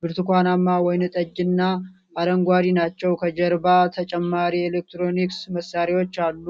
ብርቱካንማ፣ ወይንጠጅና አረንጓዴ ናቸው። ከጀርባ ተጨማሪ የኤሌክትሮኒክስ መሣሪያዎች አሉ።